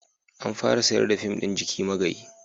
An fara sayar da fim ɗin "Jiki Magayi"